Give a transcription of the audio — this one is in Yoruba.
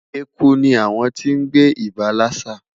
Eku ni awon ti n gbe iba lassa